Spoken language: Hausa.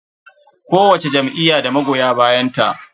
Kowacce jam'iyya da magoya bayanta.